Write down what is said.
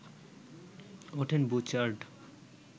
ওঠেন বুচার্ড